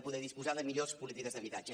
poder disposar de millors polítiques d’habitatge